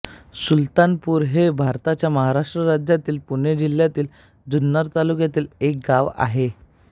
सुलतानपूर हे भारताच्या महाराष्ट्र राज्यातील पुणे जिल्ह्यातील जुन्नर तालुक्यातील एक गाव आहे